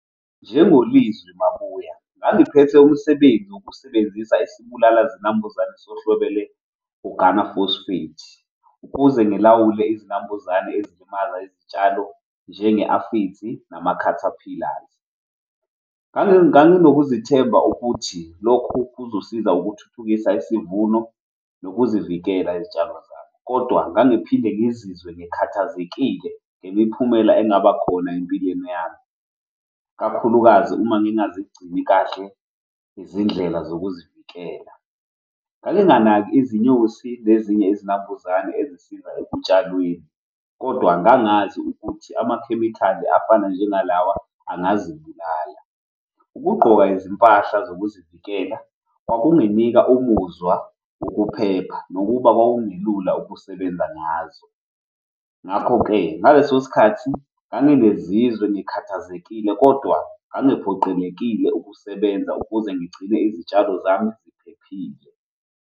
NjengoLizwi Mabuya ngangiphethe umsebenzi wokusebenzisa isibulala zinambuzane sohlobo lwe-organophosphate ukuze ngilawule izinambuzane ezilimaza izitshalo njenge-aphids nama-caterpillars. Nganginokuzithemba ukuthi lokhu kuzosiza ukuthuthukisa isivuno nokuzivikela izitshalo zami, kodwa ngangiphinde ngizizwe ngikhathazekile ngemiphumela engaba khona empilweni yami kakhulukazi uma ngingazigcini kahle izindlela zokuzivikela. Nganginganaki izinyosi nezinye izinambuzane ezisiza ekutshalweni, kodwa ngangazi ukuthi amakhemikhali afana njengalawa angazibulala. Ukugqoka izimpahla zokuzivikela kwakunginika umuzwa wokuphepha nokuba kwakungelula ukusebenza ngazo. Ngakho-ke ngaleso sikhathi ngangikezizwe ngikhathazekile kodwa ngangiphoqelekile ukusebenza ukuze ngigcine izitshalo zami ziphephile.